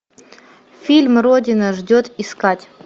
фильм родина ждет искать